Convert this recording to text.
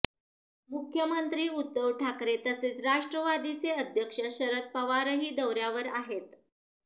मुख्मंत्री उद्धव ठाकरे तसेच राष्ट्रवादीचे अध्यक्ष शरद पवारही दौऱ्यावर आहेत